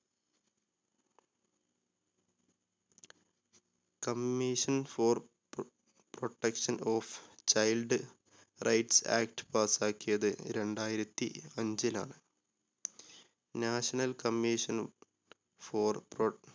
Commision for protection of child right act pass ക്കിയത് രണ്ടായിരത്തി അഞ്ചിലാണ്. National commission for pro